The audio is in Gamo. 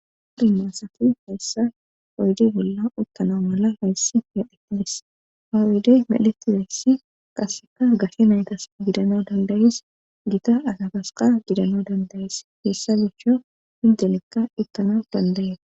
adimaasati hayssa oyde bolla uttana mala hayssi heetilis hawidey melettizeessi qaseka gashe naytas gidana dandayees gita asafaska gidano dandayees hessa gucho hindenekka ittana dandaye